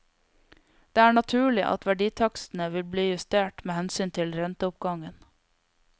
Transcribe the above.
Det er naturlig at verditakstene vil bli justert med hensyn til renteoppgangen.